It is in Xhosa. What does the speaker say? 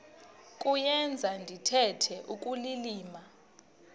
kuyenza ndithetha ukulilima